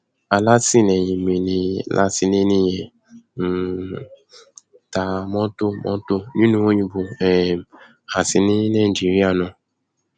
alátìlẹyìn mi ni látìléènì yẹn ń um ta mọtò mọtò nílùú òyìnbó um àti ní nàìjíríà náà